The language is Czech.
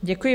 Děkuji.